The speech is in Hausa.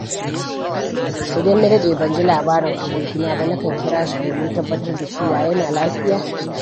Idan na daɗe ban ji labarin abokina ba, nakan kira shi domin tabbatar da cewa yana lafiya.